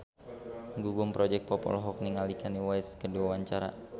Gugum Project Pop olohok ningali Kanye West keur diwawancara